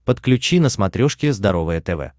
подключи на смотрешке здоровое тв